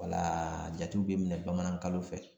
Wala jatiw be minɛ bamanankalo fɛ